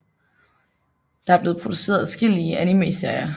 Der er blevet produceret adskillelige animeserier